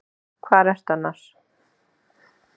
Hvar ertu annars?